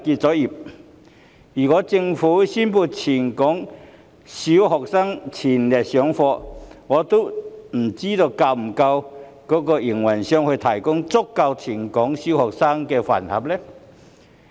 假如政府宣布全港小學恢復全日上課，我不知會否有足夠的飯盒供應商為全港小學生提供膳食。